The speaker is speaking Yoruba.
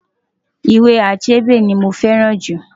Ìwé Achebe ni mo fẹ́ràn jù.